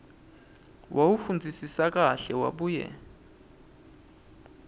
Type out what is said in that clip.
wawufundzisisa kahle wabuye